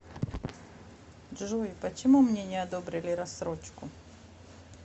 джой почему мне не одобрили рассрочку